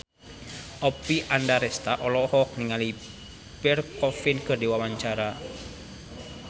Oppie Andaresta olohok ningali Pierre Coffin keur diwawancara